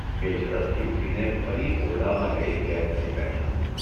એ ઝડપથી ઊઠીને ફરી ઓરડામાં જઇ કેદ થઇ બેઠા.